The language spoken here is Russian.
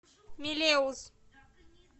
мелеуз